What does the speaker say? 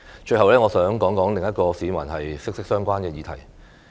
最後，我想談談另一個與市民息息相關的議題。